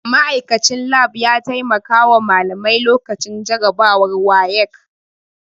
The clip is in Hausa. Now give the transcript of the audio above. Ma'aikachin lab ya taimakawa malamai lokacin jarabawar WAEC